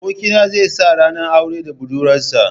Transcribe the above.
Abokina zai sa ranar aure da budurwarsa.